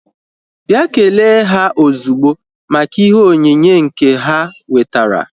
Bịa kelee ha ozugbo maka ihe onyinye nke ha wetara!